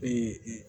Ee